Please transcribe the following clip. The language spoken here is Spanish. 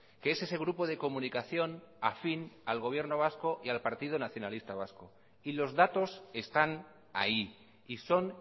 que es ese grupo de comunicación afín al gobierno vasco y al partido nacionalista vasco y los datos están ahí y son